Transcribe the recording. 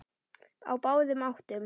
Á báðum áttum.